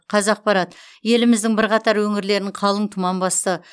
қазақпарат еліміздің бірқатар өңірлерін қалың тұман басты